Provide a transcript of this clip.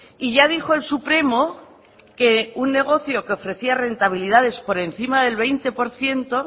y ya dijo el supremo que un negocio que ofrecía rentabilidades por encima del veinte por ciento